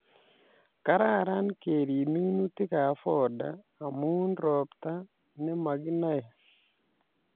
Kararan keriib minutikab fodder amu robta nemakinae